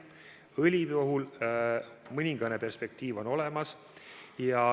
Õli puhul on mõningane perspektiiv olemas.